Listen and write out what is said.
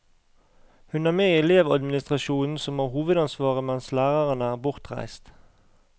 Hun er med i elevadministrasjonen som har hovedansvaret mens lærerne er bortreist.